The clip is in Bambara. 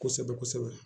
Kosɛbɛ kosɛbɛ